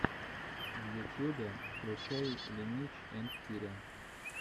в ютьюбе включай ленич энд киря